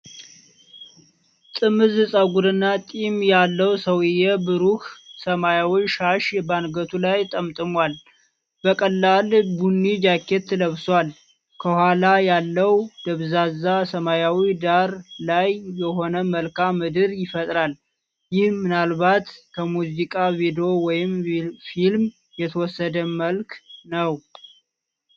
ጥምዝ ፀጉርና ጢም ያለው ሰውዬ፣ ብሩህ ሰማያዊ ሻሽ በአንገቱ ላይ ጠምጥሟል። በቀላል ቡኒ ጃኬት ለብሷል። ከኋላ ያለው ደብዛዛ ሰማያዊ ዳራ ልዩ የሆነ መልክዓ ምድርን ይፈጥራል። ይህ ምናልባት ከሙዚቃ ቪዲዮ ወይም ፊልም የተወሰደ መልክ ነው።